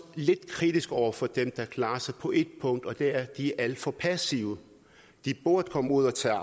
lidt kritisk over for dem der klarer sig på et punkt og det er at de er alt for passive de burde komme ud og tage